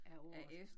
Af året